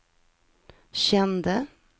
kände